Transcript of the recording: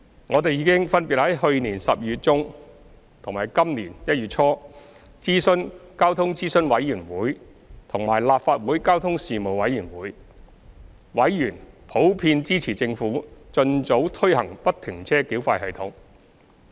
我們已分別在去年12月中和今年1月初諮詢交通諮詢委員會和立法會交通事務委員會，委員普遍支持政府盡早推行不停車繳費系統。